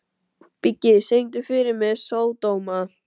Biggi, syngdu fyrir mig „Sódóma“.